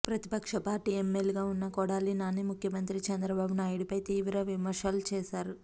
ప్రతిపక్ష పార్టీ ఎమ్మెల్యేగా ఉన్న కొడాలి నాని ముఖ్యమంత్రి చంద్రబాబు నాయుడుపై తీవ్ర విమర్శలు చేశారు